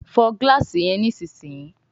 Fọ gilaasi yen nísìsiyìí!